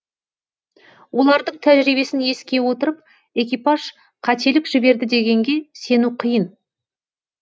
олардың тәжірибесін еске отырып экипаж қателік жіберді дегенге сену қиын